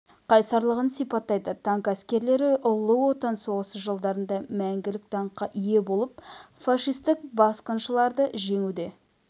қайсарлығын сипаттайды танк әскерлері ұлы отан соғысы жылдарында мәңгілік даңққа ие болып фашистік басқыншыларды жеңуде